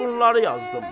Bunları yazdım.